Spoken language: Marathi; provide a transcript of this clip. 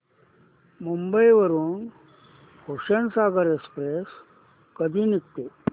मुंबई वरून हुसेनसागर एक्सप्रेस कधी निघते